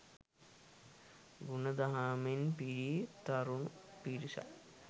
ගුණ දහමෙන් පිරි තරුණ පිරිසක්